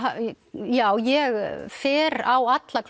já ég fer á alla